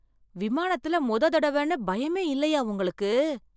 விமானத்துல முத தடவைன்னு பயமே இல்லையா உங்களுக்கு?